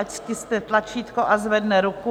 Ať stiskne tlačítko a zvedne ruku.